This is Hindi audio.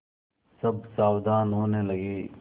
सब सावधान होने लगे